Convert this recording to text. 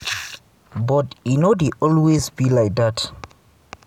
but e no dey always be like dat.